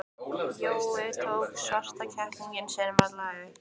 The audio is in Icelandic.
Jói tók svarta kettlinginn sinn varlega upp.